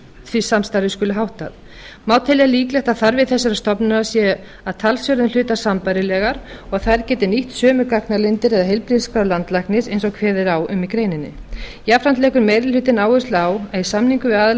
því samstarfi skuli háttað má telja líklegt að þarfir þessara stofnana séu að talsverðum hluta sambærilegar og að þær geti nýtt sömu gagnalindir eða heilbrigðisskrár landlæknis eins og kveðið er á um í greininni jafnframt leggur meiri hlutinn áherslu á að í samningum við aðila